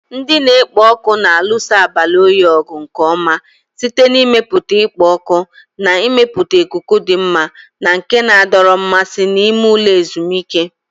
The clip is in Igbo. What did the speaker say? Ndị na-ekpo ọkụ na-alụso abalị oyi ọgụ nke ọma site n'ịmepụta ikpo ọkụ na ịmepụta ikuku dị mma na nke na-adọrọ mmasị n'ime ụlọ ezumike.